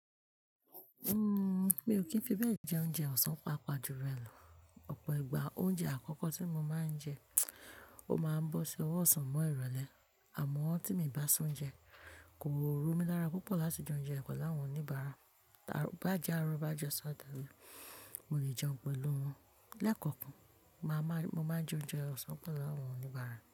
Uhm, mi ò kí ń fi bẹ́ẹ̀ jẹ oúnjẹ ọ̀sán paapajùlọ, ọ̀pọ̀ ìgbà oúnjẹ àkọ́kọ́ tí mo máa ń jẹ, ó máa ń bọ́ sí ọwọ́ ọ̀sán mọ́ ìrọ̀lẹ́. Àmọ́ tí mi i bá se oúnjẹ, kò romí lára púpọ̀ láti jẹ oúnjẹ pẹ̀lu awon oníbàárà. Ki baá jẹ́ aárọ̀, ki baá jọ́sàn atale, mo lè jẹun pẹ̀lú wọn. Lẹ́kọ̀ọ́ kan, màá máa, mo máa ń jẹ oúnjẹ ọ̀sán pẹ̀lú àwọn oníbàárà.